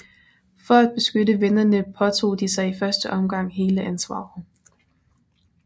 For at beskytte vennerne påtog de sig i første omgang hele ansvaret